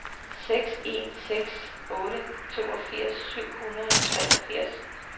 seks en seks otte toogfirs syv hundrede og treogfirs